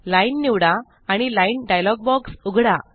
line निवडा आणि line dialog box उघडा